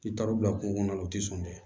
I taar'u bila kungo kɔnɔ na o tɛ sɔn dɛ